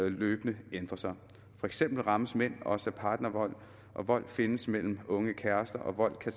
løbende ændrer sig for eksempel rammes mænd også af partnervold vold findes mellem unge kærester og vold kan